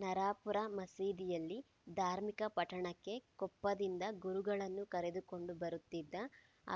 ನರಾಪುರ ಮಸೀದಿಯಲ್ಲಿ ಧಾರ್ಮಿಕ ಪಠಣಕ್ಕೆ ಕೊಪ್ಪದಿಂದ ಗುರುಗಳನ್ನು ಕರೆದುಕೊಂಡು ಬರುತ್ತಿದ್ದ